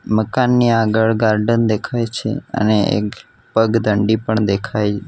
મકાનની આગળ ગાર્ડન દેખાય છે અને એક પગદંડી પણ દેખાય --